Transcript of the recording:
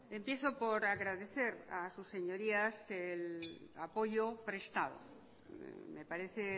empiezo por agradecer a sus señorías el apoyo prestado me parece